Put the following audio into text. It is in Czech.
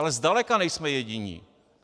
Ale zdaleka nejsme jediní.